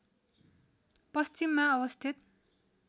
पश्चिममा अवस्थित